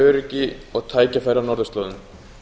öryggi og á tækifæri á norðurslóðum